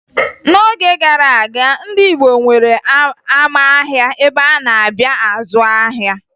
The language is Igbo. N'oge gara aga, ndị Igbo nwere ama ahịa ebe a na-abịa azụ ahịa